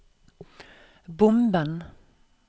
bomben